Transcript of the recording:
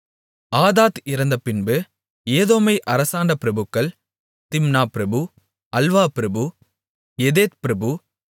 ஆதாத் இறந்தபின்பு ஏதோமை அரசாண்ட பிரபுக்கள் திம்னா பிரபு அல்வா பிரபு எதேத் பிரபு